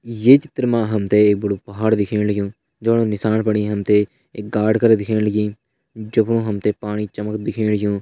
ये चित्र मा हम त एक बड़ू पहाड़ दिखेण लग्युं जमा का नीसाण बिटि एक गाड करां दिखेण लगीं जफुण हम त पाणी चमक दिखेण लग्युं।